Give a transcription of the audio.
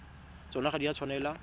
tsona ga di a tshwanela